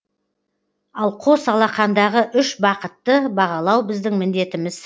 ал қос алақандағы үш бақытты бағалау біздің міндетіміз